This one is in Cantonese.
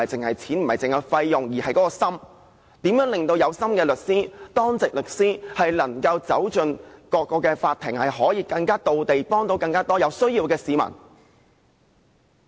我們更關注如何能令有心的律師——當值律師——走進各個法庭，可以更到位，幫助更多有需要的市民。